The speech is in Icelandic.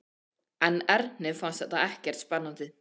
En Erni fannst þetta ekkert spennandi.